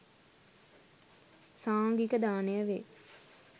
සංඝික දානය වේ.